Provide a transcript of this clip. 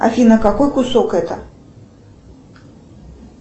афина какой кусок это